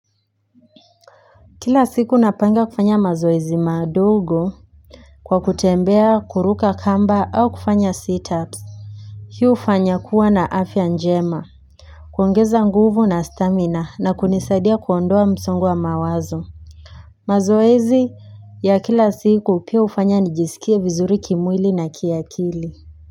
Kila siku napanga kufanya mazoezi madogo kwa kutembea kuruka kamba au kufanya sit-ups hii hufanya kuwa na afya njema kuongeza nguvu na stamina na kunisaidia kuondoa msongo wa mawazo mazoezi ya kila siku pia ufanya nijisikie vizuri kimwili na kiakili.